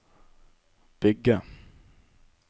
bygge